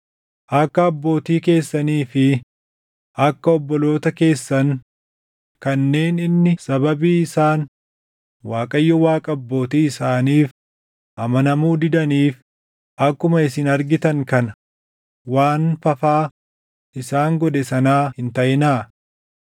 Akka abbootii keessanii fi akka obboloota keessan kanneen inni sababii isaan Waaqayyo Waaqa abbootii isaaniif amanamuu didaniif akkuma isin argitan kana waan fafaa isaan godhe sanaa hin taʼinaa.